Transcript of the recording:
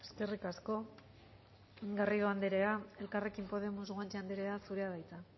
eskerrik asko garrido anderea elkarrekin podemos guanche anderea zurea da hitza